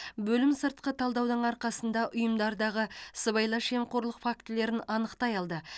бөлім сыртқы талдаудың арқасында ұйымдардағы сыбайлас жемқорлық фактілерін анықтай алды